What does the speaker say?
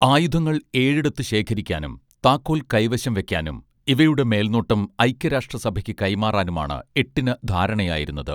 ആയുധങ്ങൾ ഏഴിടത്ത് ശേഖരിക്കാനും താക്കോൽ കൈവശം വെക്കാനും ഇവയുടെ മേൽനോട്ടം ഐക്യരാഷ്ട്രസഭയ്ക്കു കൈമാറാനുമാണ് എട്ടിന് ധാരണയായിരുന്നത്